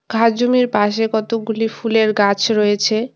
ভাজুঙের পাশে কতগুলি ফুলের গাছ রয়েছে।